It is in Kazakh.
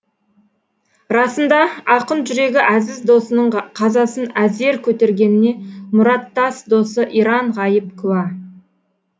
расында ақын жүрегі әзіз досының қазасын әзер көтергеніне мұраттас досы иран ғайып куә